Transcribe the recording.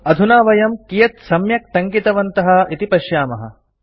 अधुना वयं कियत् सम्यक् टङ्कितवन्तः इति पश्यामः